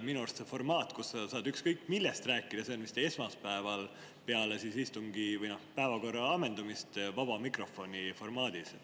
Minu arust see formaat, kus sa saad ükskõik millest rääkida, see on esmaspäeval peale istungi päevakorra ammendumist vaba mikrofoni formaadis.